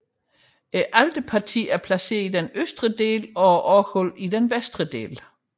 Alterpartiet er placeret i den østre del og orglet i den vestre del